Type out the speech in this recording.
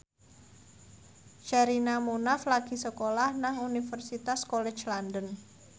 Sherina Munaf lagi sekolah nang Universitas College London